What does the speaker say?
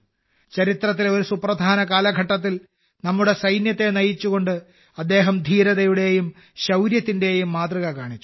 ചരിത്രത്തിലെ ഒരു സുപ്രധാന കാലഘട്ടത്തിൽ നമ്മുടെ സൈന്യത്തെ നയിച്ചുകൊണ്ട് അദ്ദേഹം ധീരതയുടെയും ശൌര്യത്തിന്റെയും മാതൃക കാണിച്ചു